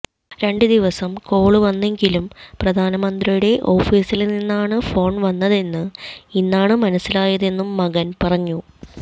രണ്ട് ദിവസം കോള് വന്നെങ്കിലും പ്രധാന മന്ത്രിയുടെ ഓഫീസില് നിന്നാണ് ഫോണ് വന്നതെന്ന് ഇന്നാണ് മനസിലായതെന്നും മകന് പറഞ്ഞു